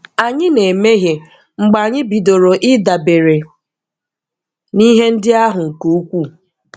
Anyị na - emehie mgbe anyị bidoro ịdabere n'ihe ndị ahụ nke ukwuu.